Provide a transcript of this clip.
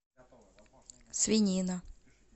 свинина